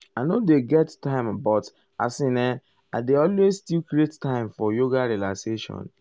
i nor dey um get time but as in[um]i dey always um still create time for yoga relaxation.